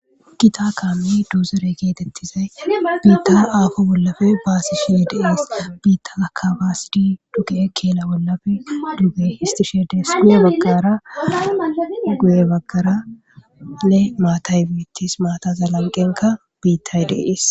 Kitakaanne duozere keetettizay miitar aafo bollafe baasi she deas biitta akabasidi dugi7e keela wollafe dubbe histishede sume baggara guye baggarane maatay biittis maataza lanqenka biittay deiis